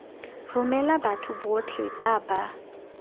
romela batho botlhe ba ba